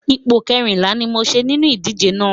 Ipò kẹrìnlá ni mo ṣe nínú ìdíje náà.